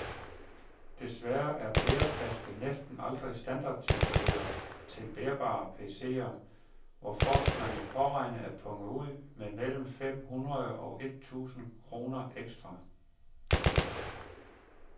Desværre er bæretaske næsten aldrig standardtilbehør til bærbare PCer, hvorfor man må påregne at punge ud med mellem fem hundrede og et tusind kroner ekstra.